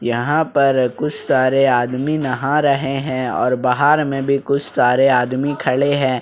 यहां पर कुछ सारे आदमी नहा रहे हैं और बाहर में भी कुछ सारे आदमी खड़े हैं।